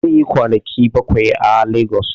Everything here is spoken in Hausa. Zai yi kwanaki bakwai a legos